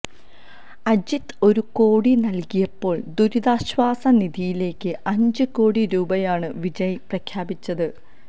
അജിത് ഒരു കോടി നല്കിയപ്പോള് ദുരിതാശ്വാസ നിധിയിലേക്ക് അഞ്ച് കോടി രൂപയാണ് വിജയ് പ്രഖ്യാപിച്ചത്